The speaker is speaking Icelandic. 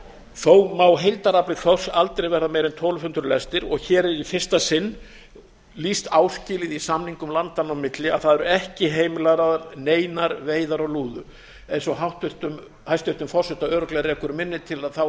þó má heildarafli þorsks aldrei verða meiri en tólf hundruð lestir og hér er í fyrsta sinn lýst áskilið í samningum landanna á milli að það eru ekki heimilaðar neinar veiðar á lúðu eins og hæstvirtan forseta örugglega rekur minni til